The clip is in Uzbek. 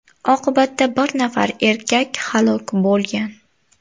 Oqibatda bir nafar erkak halok bo‘lgan.